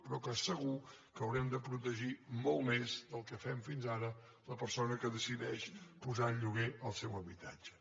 però que segur que haurem de protegir molt més del que fem fins ara la persona que decideix posar en lloguer el seu habitatge